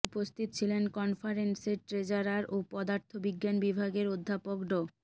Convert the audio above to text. উপস্থিত ছিলেন কনফারেন্সের ট্রেজারার ও পদার্থ বিজ্ঞান বিভাগের অধ্যাপক ড